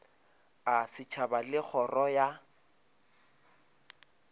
a setšhaba le kgoro ya